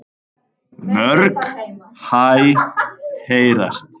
Mörg hæ heyrast.